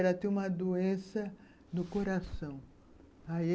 Ela tinha uma doença no coração... Aí...